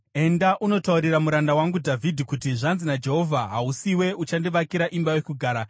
“Enda unotaurira muranda wangu Dhavhidhi kuti, ‘Zvanzi naJehovha: Hausiwe uchandivakira imba yokugara.